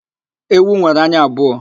Ewu nwere anya abụọ